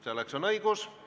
Selleks on tal õigus.